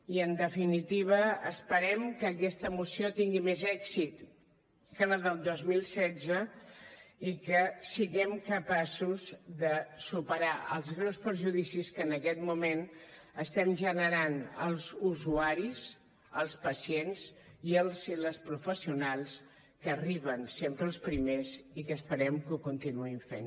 i en definitiva esperem que aquesta moció tingui més èxit que la del dos mil setze i que siguem capaços de superar els greus perjudicis que en aquest moment estem generant als usuaris als pacients i als i les professionals que arriben sempre els primers i que esperem que ho continuïn fent